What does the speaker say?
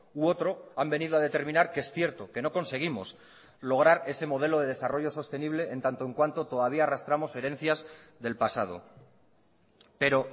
u otro han venido a determinar que es cierto que no conseguimos lograr ese modelo de desarrollo sostenible en tanto en cuanto todavía arrastramos herencias del pasado pero